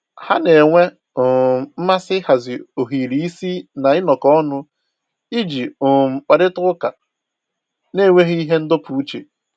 Ha na-enwe um mmasị ịhazi ohiri isi na ịnọkọ ọnụ iji um kparịta ụka n'enweghị ihe ndọpụ uche